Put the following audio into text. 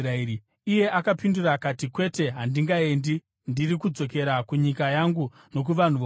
Iye akapindura akati, “Kwete, handingaendi; ndiri kudzokera kunyika yangu nokuvanhu vokwangu.”